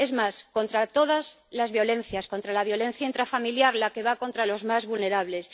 es más, contra todas las violencias, contra la violencia intrafamiliar, la que va contra los más vulnerables.